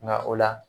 Nka o la